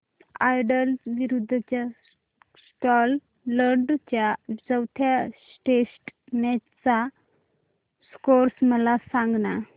Ireland विरूद्ध Scotland च्या चौथ्या टेस्ट मॅच चा स्कोर मला सांगना